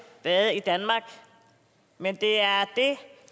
været i danmark men det er det